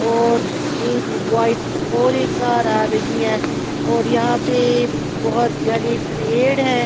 और एक वाइट और एक कार आ रही है और यहाँ पे बहुत घने पेड़ है।